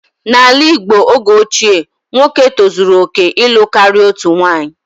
N'ala Igbo oge ochie, nwoke tozuru oke ịlụ karịa otu nwunye